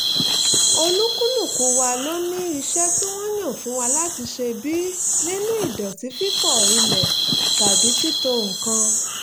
olúkúlùkù wa ló ní iṣẹ́ tí wọ́n yàn fún wa láti ṣe bíi nínu ìdọ̀tí fífọ ilẹ̀ tàbí títò nǹkan